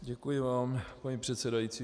Děkuji vám, paní předsedající.